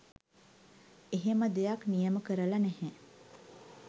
එහෙම දෙයක්‌ නියම කරලා නැහැ